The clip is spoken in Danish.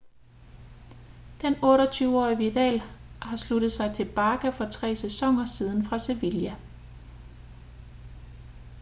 den 28-årige vidal har sluttet sig til barca for tre sæsoner siden fra sevilla